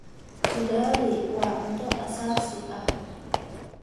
Ugali waa cunto aasaasi ah.